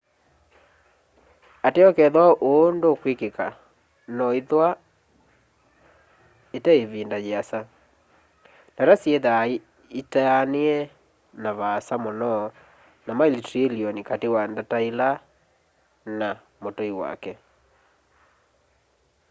ateo kethwa ũũ nũkwĩkĩka no ithwa ite ĩvĩnda yĩasa ndata syĩthaa itaanĩe na vaasa mũno na maili trĩlĩonĩ katĩ wa ndata ĩla nĩ mũtũĩ